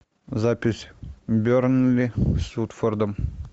запись бернли с уотфордом